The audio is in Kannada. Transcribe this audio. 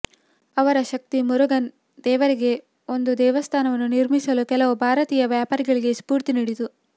ಅವರ ಶಕ್ತಿ ಮುರುಗನ್ ದೇವರಿಗೆ ಒಂದು ದೇವಸ್ಥಾನವನ್ನು ನಿರ್ಮಿಸಲು ಕೆಲವು ಭಾರತೀಯ ವ್ಯಾಪಾರಿಗಳಿಗೆ ಸ್ಫೂರ್ತಿ ನೀಡಿತು